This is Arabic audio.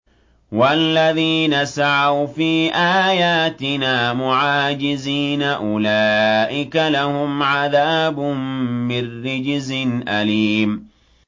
وَالَّذِينَ سَعَوْا فِي آيَاتِنَا مُعَاجِزِينَ أُولَٰئِكَ لَهُمْ عَذَابٌ مِّن رِّجْزٍ أَلِيمٌ